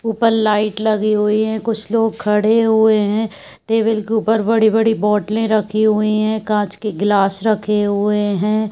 ऊपर लाइट लगी हुई है। कुछ लोग खड़े हुए हैं। टेबल के ऊपर बड़ी-बड़ी बोटले रखी हुई हैं। कांच के गिलास रखे हुए हैं।